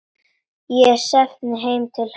Ég stefni heim til hennar.